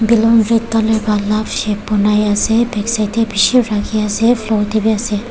balloon red colour la love shape ba banai ase back side te beshi rakhi ase floor tebi ase.